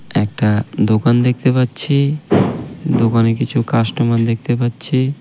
একটা দোকান দেখতে পাচ্ছি। দোকানে কিছু কাস্টমার দেখতে পাচ্ছি।